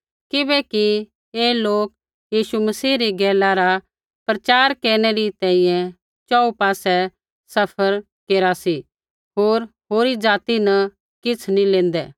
किबैकि ऐ लोक यीशु मसीह री गैला रा प्रचार केरनै री तैंईंयैं च़ोहू पासै सफ़र केरा सी होर होरी ज़ाति न किछ़ नी लेंदै